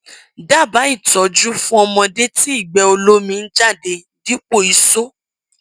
dábàá ìtọjú fún ọmọdé tí ìgbẹ olómi ń jáde dípò isó